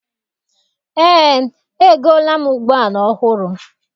Eé, egoola m ụgbọala ọhụrụ.